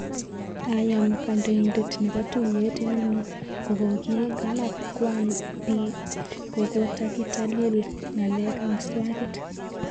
Ayam kandoitet nepo tuyet inano kokokikanap kwang pi kokokatilatil ngalek ak swakit.